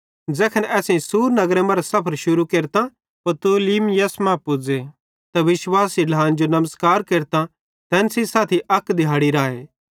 ज़ैखन असां सूर नगरे मरां सफर पूरू केरतां पतुलिमयिस मां पुज़े ते विश्वासी ढ्लान जो नमस्कार केरतां तैन सेइं साथी अक दिहाड़ी राए